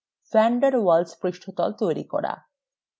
van der waals পৃষ্ঠতল তৈরি করা